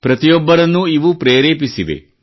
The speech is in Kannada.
ಪ್ರತಿಯೊಬ್ಬರನ್ನೂ ಇವು ಪ್ರೆರೇಪಿಸಿವೆ